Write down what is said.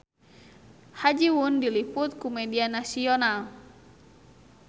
Ha Ji Won diliput ku media nasional